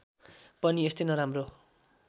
पनि यस्तै नराम्रो